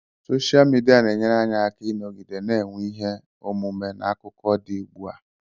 Soshal midia na-enyere anyị aka ịnọgide na-enwe ihe omume na akụkọ dị ugbu a.